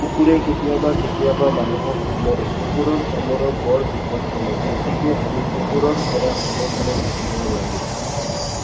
কুকুৰে কেতিয়াবা কেতিয়াবা মানুহক কামুৰে। কুকুৰৰ কামোৰ বৰ বিপদজনক। গতিকে আমি কুকুৰৰ পৰা সাৱধানে থাকিব লাগে।